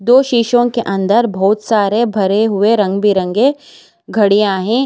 दो शीशों के अंदर बहुत सारे भरे हुए रंग बिरंगे घड़ियां हैं।